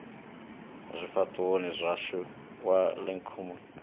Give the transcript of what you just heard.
zwifhaṱuwoni zwashu wa ikonomi i